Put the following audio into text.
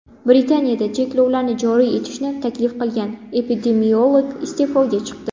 Britaniyada cheklovlarni joriy etishni taklif qilgan epidemiolog iste’foga chiqdi.